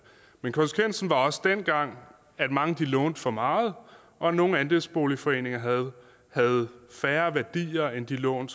men konsekvensen var også dengang at mange lånte for meget og at nogle andelsboligforeninger havde færre værdier end de lån